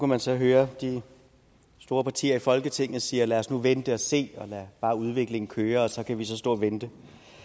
man så høre de store partier i folketinget sige lad os nu vente og se og lade bare udviklingen køre så kan vi stå og vente